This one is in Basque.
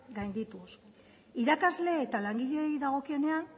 gaindituz irakasle eta langileei dagokienean